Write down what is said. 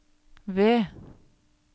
ved